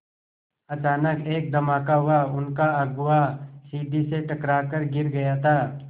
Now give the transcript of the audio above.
अचानक एक धमाका हुआ उनका अगुआ सीढ़ी से टकरा कर गिर गया था